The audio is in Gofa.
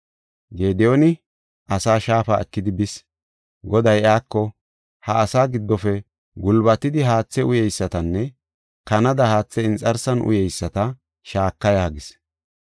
Gediyooni asaa shaafu ekidi bis. Goday iyako, “Ha asaa giddofe gulbatidi haathe uyeysatanne kanada haathe inxarsan uyeyisata shaaka” yaagis.